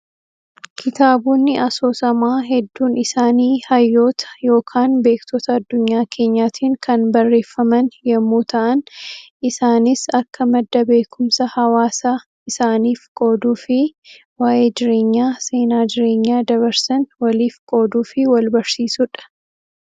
Kitaabonni asoosamaa hedduun isaanii hayyoota yookaan beektota adunyaa keenyaatiin kan barreeffaman yemmuu ta'an, isaanis akka madda beekumsa hawaasa isaaniif qooduu fi waa'ee jireenyaa, seenaa jireenyaa dabarsan waliif qooduu fi wal barsiisuudha.